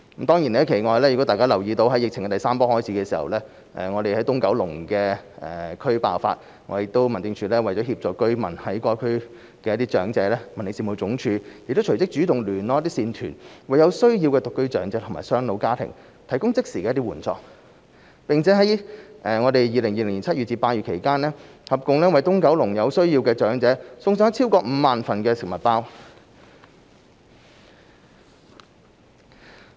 大家亦可能留意到，當疫情第三波開始時，東九龍地區爆發疫情，為協助居民和當區長者，民政事務總署亦隨即主動聯絡一些善團，為有需要的獨居長者或雙老家庭提供即時援助，在2020年7月至8月期間，為東九龍有需要的長者送上超過5萬份食物包。